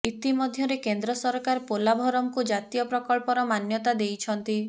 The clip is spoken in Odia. ଇତିମଧ୍ୟରେ କେନ୍ଦ୍ର ସରକାର ପୋଲାଭରମକୁ ଜାତୀୟ ପ୍ରକଳ୍ପର ମାନ୍ୟତା ଦେଇଛନ୍ତି